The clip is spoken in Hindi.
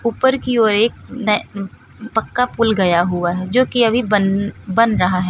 ऊपर की ओर एक न उम्म पक्का पूल गया हुआ है जो कि अभी बन्न बन रहा है।